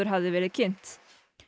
hafði verið kynnt